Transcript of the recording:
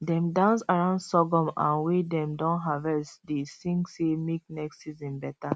dem dance around sorghum um wey dem don harvest dey sing say make next season better